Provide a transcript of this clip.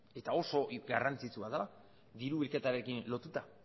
eta oso garrantzitsua dela diru bilketarekin lotuta